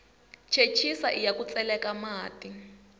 chechisa iya ku tseleka mati